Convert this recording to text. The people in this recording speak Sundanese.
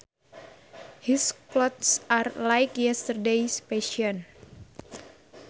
His clothes are like yesterdays fashion